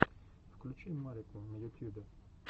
включи марику на ютьюбе